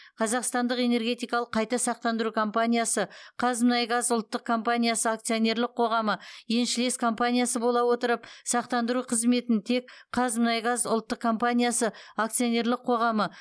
қазақстандық энергетикалық қайта сақтандыру компаниясы қазмұнайгаз ұлттық компаниясы акционерлік қоғамы еншілес компаниясы бола отырып сақтандыру қызметін тек қазмұнайгаз ұлттық компаниясы акционерлік қоғамы